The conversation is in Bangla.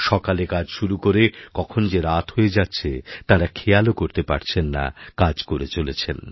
সকালে কাজ শুরু করে কখন যে রাতহয়ে যাচ্ছে তাঁরা খেয়ালও করতে পারছেন না কাজ করে চলেছে